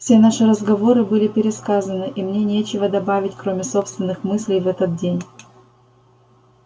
все наши разговоры были пересказаны и мне нечего добавить кроме собственных мыслей в этот день